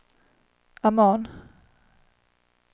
Amman